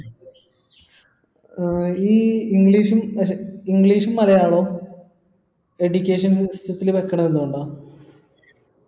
ഈ english ഉം english ഉം മലയാളവും education sysytem ത്തിൽ വെക്കണത് എന്തുകൊണ്ട